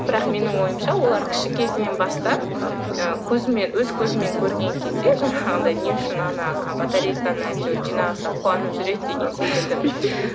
бірақ менің ойымша олар кіші кезінен бастап ы көзімен өз көзімен көрген кезде жаңағындай не үшін ана батарейканы әйтеуір жинасақ қуанып жүреді деген секілді